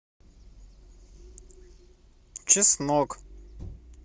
чеснок